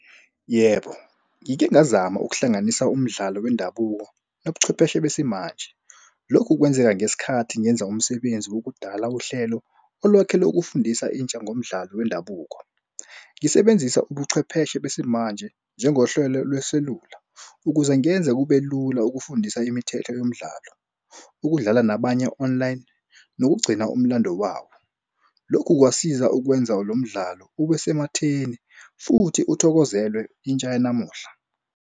Yebo, ngike ngazama ukuhlanganisa umdlalo wendabuko nobuchwepheshe besimanje. Lokhu kwenzeka ngesikhathi ngenza umsebenzi wokudala uhlelo olwakhele ukufundisa intsha ngomdlalo wendabuko. Ngisebenzisa ubuchwepheshe besimanje njengohlwelo lweselula ukuze ngenze kube lula ukufundisa imithetho yomdlalo, ukudlala nabanye online nokugcina umlando wawo. Lokhu kwasiza ukwenza lo mdlalo ube sematheni futhi uthokozelwe intsha yanamuhla.